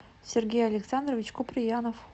сергей александрович куприянов